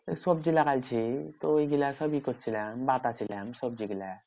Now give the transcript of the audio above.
সবজি লাগাইছি তো ঐগুলা সবই করছিলাম বাতাছিলাম সব্জিগুলা।